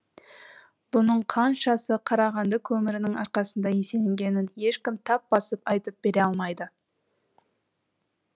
бұның қаншасы қарағанды көмірінің арқасында еселенгенін ешкім тап басып айтып бере алмайды